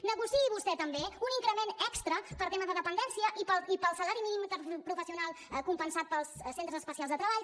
negociï vostè també un increment extra per al tema de dependència i per al salari mínim interprofessional compensat pels centres especials de treball